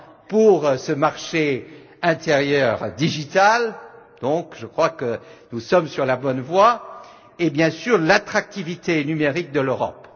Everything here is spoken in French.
pour ce marché intérieur digital, donc je crois que nous sommes sur la bonne voie et bien sûr pour l'attractivité numérique de l'Europe.